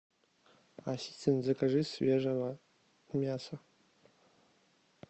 ассистент закажи свежего мяса